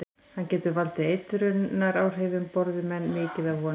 Hann getur valdið eitrunaráhrifum borði menn mikið af honum.